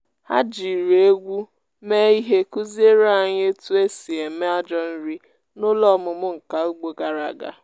ha jiri egwú mee ihe kụziere anyị otu esi eme ajọ nri n’ụlọ ọmụmụ nka ugbo gara aga.